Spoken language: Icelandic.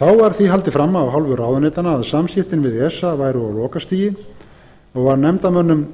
þá var því haldið fram af hálfu ráðuneytanna að samskiptin við esa væru á lokastigi nú var nefndarmönnum